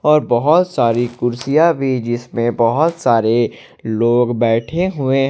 और बहुत सारी कुर्सियां भी जिसमें बहुत सारे लोग बैठे हुए--